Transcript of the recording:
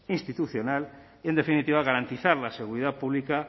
institucional y en definitiva garantizar la seguridad pública